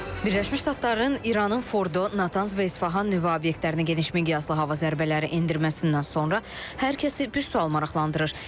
Birləşmiş Ştatların İranın Fordo, Natanz və İsfahan nüvə obyektlərinə geniş miqyaslı hava zərbələri endirməsindən sonra hər kəsi bir sual maraqlandırır.